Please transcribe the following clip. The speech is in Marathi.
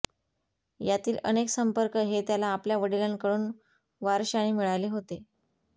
यातील अनेक संपर्क हे त्याला आपल्या वडीलांकडून वारश्याने मिळाले होते